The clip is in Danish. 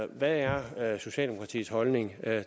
hvad er socialdemokratiets holdning